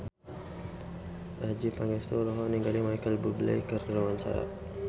Adjie Pangestu olohok ningali Micheal Bubble keur diwawancara